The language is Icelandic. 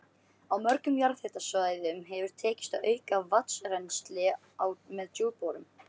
Á mörgum jarðhitasvæðum hefur tekist að auka vatnsrennsli með djúpborunum.